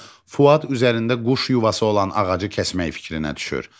Fuad üzərində quş yuvası olan ağacı kəsmək fikrinə düşür.